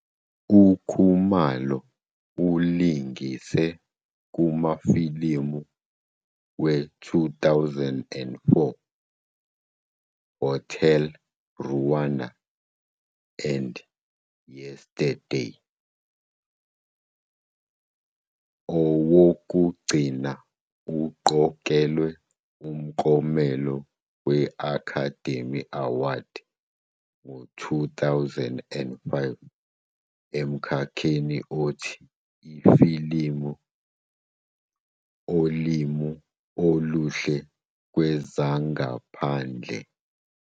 UKhumalo ulingise kumafilimu we-2004 "Hotel Rwanda" and "Yesterday", owokugcina uqokelwe umklomelo we- Academy Award ngo-2005 emkhakheni othi "Ifilimu Olimi Oluhle Kwezangaphandle".